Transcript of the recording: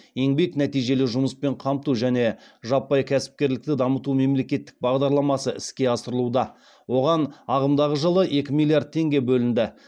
еңбек нәтижелі жұмыспен қамту және жаппай кәсіпкерлікті дамыту мемлекеттік бағдарламасы іске асырылуда оған ағымдағы жылы екі миллиард теңге бөлінді